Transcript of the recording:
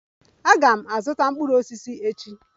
Aga m azụta mkpụrụ osisi echi.